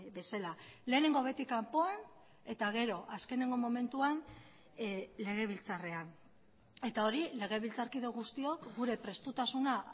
bezala lehenengo beti kanpoan eta gero azkeneko momentuan legebiltzarrean eta hori legebiltzarkide guztiok gure prestutasuna